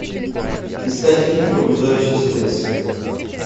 искать фильм пробуждающийся лес